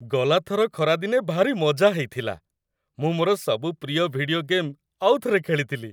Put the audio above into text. ଗଲା ଥର ଖରାଦିନେ ଭାରି ମଜା ହେଇଥିଲା । ମୁଁ ମୋର ସବୁ ପ୍ରିୟ ଭିଡିଓ ଗେମ୍ ଆଉଥରେ ଖେଳିଥିଲି ।